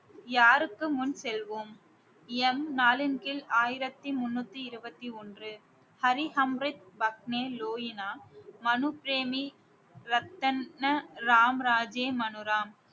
யாருக்கு முன் செல்வோம் எம் நாலின் கீழ் ஆயிரத்தி முன்னூத்தி இருபத்தி ஒன்று ஹரிஹம்ரித் பத்மேலோயினா மனுப் பிரேமி ரத்தன்ன ராம் ராஜே மனுராம்